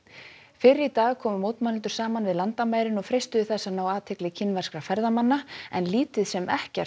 fyrr í dag komu mótmælendur saman við landamærin og freistuðu þess að ná athygli kínverskra ferðamanna en lítið sem ekkert